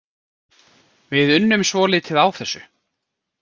Við unnum svolítið á þessu.